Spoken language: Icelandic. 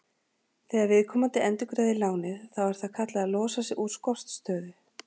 Þegar viðkomandi endurgreiðir lánið þá er það kallað að losa sig úr skortstöðu.